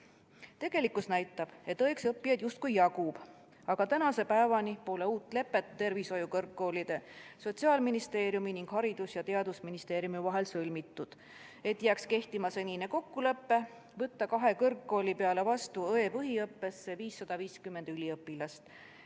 Tegelikkus näitab, et õeks õppijaid justkui jagub, aga tänase päevani pole sõlmitud uut lepet tervishoiukõrgkoolide, Sotsiaalministeeriumi ning Haridus- ja Teadusministeeriumi vahel, et jääks kehtima senine kokkulepe võtta kahe kõrgkooli peale õe põhiõppesse vastu 550 üliõpilast.